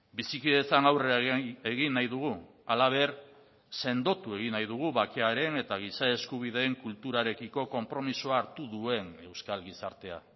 bizikidetzan aurrera egin nahi dugu halaber sendotu egin nahi dugu bakearen eta giza eskubideen kulturarekiko konpromisoa hartu duen euskal gizartea